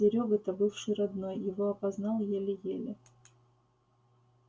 серёга то бывший родной его опознал еле-еле